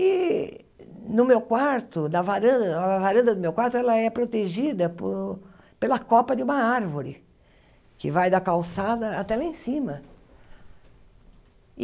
E no meu quarto, na varanda, a varanda do meu quarto, ela é protegida pela copa de uma árvore, que vai da calçada até lá em cima.